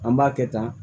An b'a kɛ tan